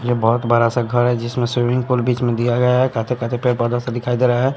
यह बहुत बड़ा सा घर है जिसमें स्विमिंग पूल बीच में दिया गया है। काठे काठे पेड़ पौधा सा दिखाई दे रहा है।